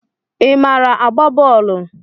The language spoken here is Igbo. ị maara agba bọọlu?